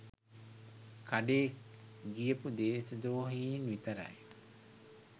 කඩේ ගියපු දේශද්‍රෝහින් විතරයි